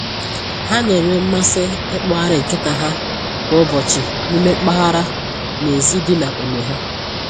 Ha na-enwe mmasị ikpọgharị nkịta ha kwa ụbọchị n'ime mpaghara n'èzí dị n'ógbè ha